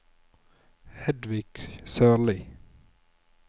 Hedvig Sørlie